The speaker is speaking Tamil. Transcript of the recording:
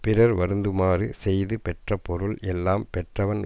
பிறர் வருந்துமாறு செய்து பெற்ற பொருள் எல்லாம் பெற்றவன்